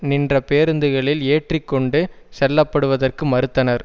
நின்ற பேருந்துகளில் ஏற்றி கொண்டு செல்லப்படுவதற்கு மறுத்தனர்